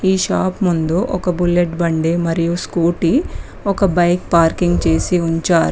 ఈ షాప్ ముందు ఒక బుల్లెట్ బండి మరియు స్కూటీ ఒక బైక్ పార్కింగ్ చేసి ఉంచారు.